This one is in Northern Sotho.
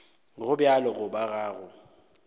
go bjalo goba ga go